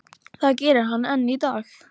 Það gerir hann enn í dag.